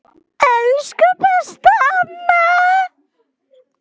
Elsku besta amma.